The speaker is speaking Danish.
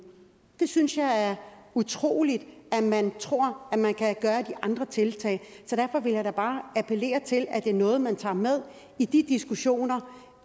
det synes jeg er utroligt altså at man tror at man kan gøre de andre tiltag så derfor vil jeg da bare appellere til at det er noget man tager med i de diskussioner